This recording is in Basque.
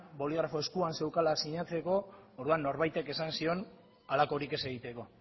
boligrafoa eskuan zeukala sinatzeko orduan norbaitek esan zion halakorik ez egiteko